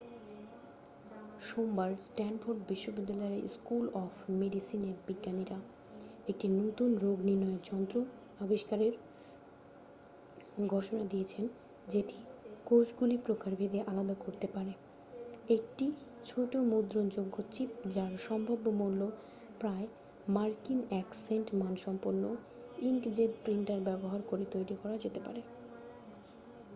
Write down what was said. সোমবার স্ট্যানফোর্ড বিশ্ববিদ্যালয়ের school of মেডিসিনের বিজ্ঞানীরা একটি নতুন রোগ নির্ণয়ের যন্ত্র আবিষ্কারের ঘোষণা দিয়েছেন যেটি কোষগুলি প্রকারভেদে আলাদা করতে পারে একটি ছোট মুদ্রণযোগ্য চিপ যার সম্ভাব্য মূল্য প্রায় মার্কিন এক সেন্ট মানসম্পন্ন ইঙ্কজেট প্রিন্টার ব্যবহার করে তৈরি করা যেতে পারে